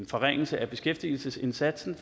forringelse af beskæftigelsesindsatsen